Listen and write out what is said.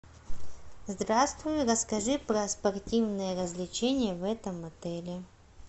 здравствуй расскажи про спортивные развлечения в этом отеле